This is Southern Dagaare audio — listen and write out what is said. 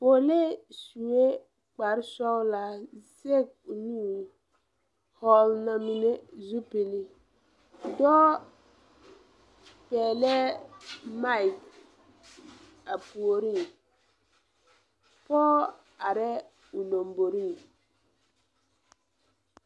Poolee suee kparesɔglaa zege o nu hɔɔle na mine zupile dɔɔ pɛglɛɛ maik a puoriŋ poge areɛɛ o lomboriŋ.